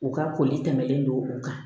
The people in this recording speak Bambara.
U ka koli tɛmɛnlen don o kan